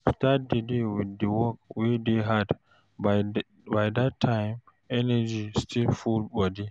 Start di day with di work wey hard, by that time energy still full body